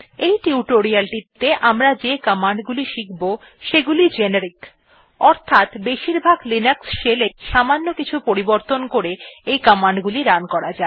এই টিউটোরিয়ালটিতে আমরা যে কমান্ড গুলি শিখব সেগুলি জেনেরিক অর্থাৎ বেশিরভাগ লিনাক্স shell এই সামান্য কিছু পরিবর্তন করে এই কমান্ড গুলি রান করা যায়